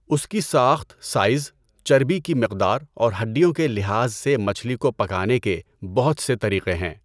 اس کی ساخت، سائز، چربی کی مقدار اور ہڈیوں کے لحاظ سے مچھلی کو پکانے کے بہت سے طریقے ہیں۔